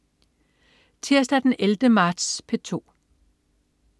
Tirsdag den 11. marts - P2: